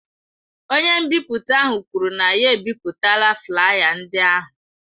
Onye nbipute ahụ kwuru na ya ebipụtala flaya ndị ahụ.